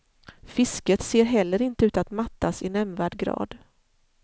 Fisket ser heller inte ut att mattas i nämnvärd grad.